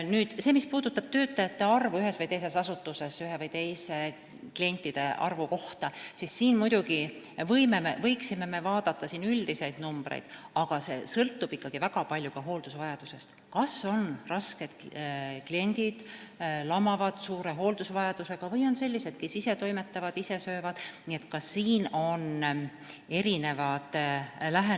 Nüüd, mis puudutab ühe või teise asutuses töötajate arvu klientide kohta, siis siin võiksime vaadata üldiseid numbreid, aga see kõik sõltub ikkagi väga palju ka hooldusvajadusest – kas on rasked kliendid, st suure hooldusvajadusega lamavad haiged, või on sellised, kes ise toimetavad, ise söövad jne.